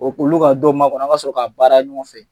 O k'ulu ka don makɔnɔ an ka sɔrɔ k'a baara ɲɔgɔn fɛ.